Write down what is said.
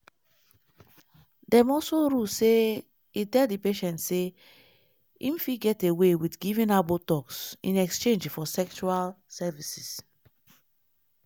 dem also rule say e tell di patient say "im fit get away wit giving her botox in exchange for sexual services".